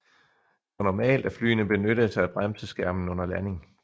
Det var normalt at flyene benyttede sig af bremseskærmen under landing